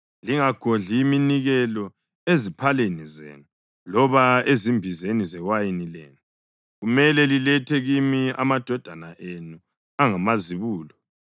Lingagodli iminikelo eziphaleni zenu loba ezimbizeni zewayini lenu. Kumele lilethe kimi amadodana enu angamazibulo.